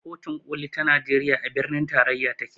Kotun koli ta najeriya a birnin tarayya take